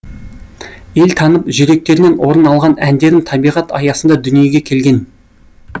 ел танып жүректерінен орын алған әндерім табиғат аясында дүниеге келген